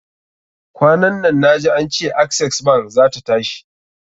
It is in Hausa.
Kwanan nan na ji ance Access bank zata tashi.